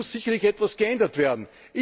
Da muss sicherlich etwas geändert werden!